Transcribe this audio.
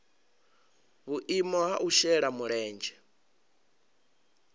vhuimo ha u shela mulenzhe